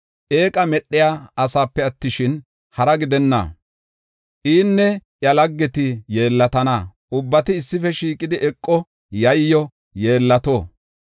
Eeqa medhey asepe attishin, hara gidenna; inne iya laggeti yeellatana; ubbati issife shiiqidi eqo, yayyo, yeellato.